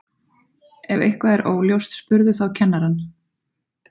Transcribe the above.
Ef eitthvað er óljóst spurðu þá kennarann.